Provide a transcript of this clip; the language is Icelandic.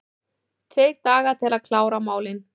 Tveir dagar til að klára málin